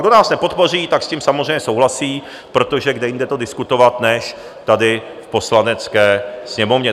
Kdo nás nepodpoří, tak s tím samozřejmě souhlasí, protože kde jinde to diskutovat než tady v Poslanecké sněmovně.